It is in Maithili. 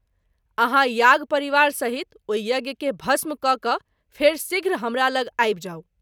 आहाँ याग परिवार सहित ओहि यज्ञ के भस्म कय क’ फेरि शीघ्र हमरा लग आबि जाऊ।